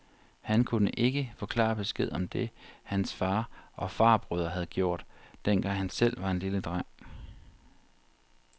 Han kunne ikke få klar besked om det, hans far og farbrødre havde gjort, dengang han selv var en lille dreng.